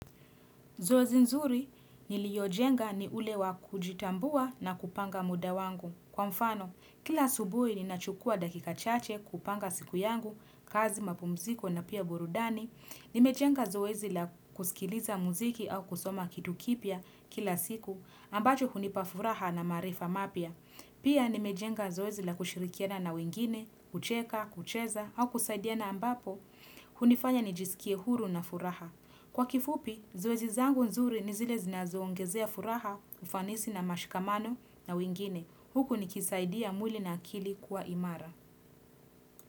Zoezi nzuri niliojenga ni ule wa kujitambua na kupanga muda wangu. Kwa mfano, kila asubuhi ninachukua dakika chache kupanga siku yangu, kazi mapumziko na pia burudani. Nimejenga zoezi la kusikiliza muziki au kusoma kitu kipya kila siku, ambacho hunip afuraha na maarifa mapya. Pia nimejenga zoezi la kushirikiana na wengine, kucheka, kucheza hau kusaidiana ambapo, hunifanya nijisikie huru na furaha. Kwa kifupi, zoezi zangu nzuri ni zile zinazo ongezea furaha, ufanisi na mashkamano na wengine. Huku nikisaidia mwili na akili kuwa imara.